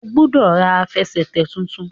o gbódò rà Àfẹsẹ̀tẹ̀ títún!